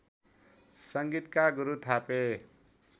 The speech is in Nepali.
संगीतका गुरु थापे